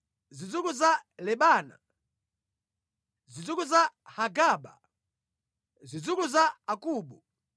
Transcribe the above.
zidzukulu za Lebana, zidzukulu za Hagaba, zidzukulu za Akubu,